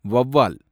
வௌவால்